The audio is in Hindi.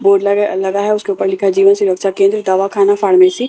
बोर्ड लगा लगा है उसके ऊपर लिखा है जीवन सुरक्षा केंद्र दावा खाना फार्मेसी और--